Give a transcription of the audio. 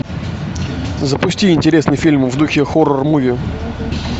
запусти интересный фильм в духе хоррор муви